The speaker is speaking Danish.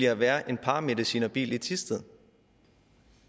at være en paramedicinerbil i thisted